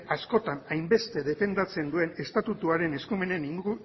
askotan hainbeste defendatzen duen estatuaren eskumenen